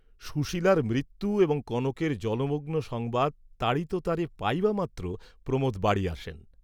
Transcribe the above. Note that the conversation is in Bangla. সুশীলার মৃত্যু এবং কনকের জলমগ্ন সংবাদ তাড়িততারে পাইবামাত্র প্রমোদ বাড়ী আসেন।